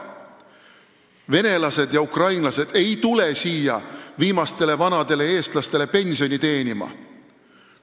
Venelased ja ukrainlased ei tule siia viimastele vanadele eestlastele pensioni teenima.